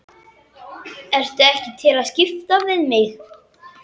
Ertu ekki til í að skipta við mig?